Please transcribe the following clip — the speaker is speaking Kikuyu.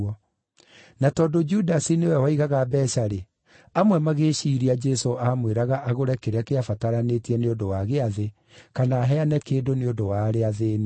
Na tondũ Judasi nĩwe waigaga mbeeca-rĩ, amwe magĩĩciiria Jesũ aamwĩraga agũre kĩrĩa kĩabataranĩtie nĩ ũndũ wa Gĩathĩ, kana aheane kĩndũ nĩ ũndũ wa arĩa athĩĩni.